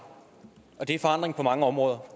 og det er forandring på mange områder